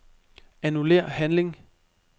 Annullér handling.